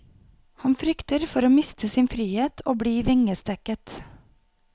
Han frykter for å miste sin frihet og bli vingestekket.